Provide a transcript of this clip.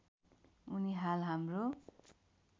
उनी हाल हाम्रो